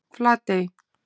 Flatey